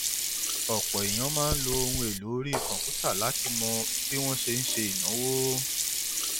ọpọ èèyàn máa ń lo ohun èlò orí kọǹpútà láti mọ bí wọn ṣe ń ṣe ìnáwó